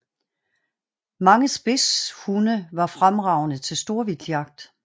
Mange spidsehunde var fremragende til storvildtjagt